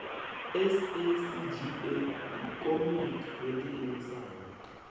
sacga ndi komiti yo iimisaho